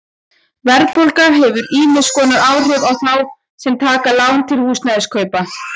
Verðbólga hefur ýmiss konar áhrif á þá sem taka lán til húsnæðiskaupa.